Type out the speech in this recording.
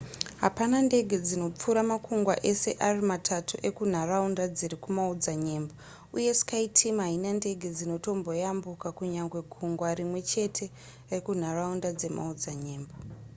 hapana ndege dzinopfuura makungwa ese ari matatu ekunharaunda dziri kumaodzanyemba uye skyteam haina ndege dzinotomboyambuka kunyange gungwa rimwe chete rekunharaunda dzemaodzanyemba